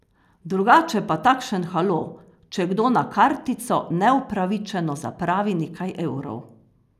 Drugače pa takšen halo, če kdo na kartico neupravičeno zapravi nekaj evrov.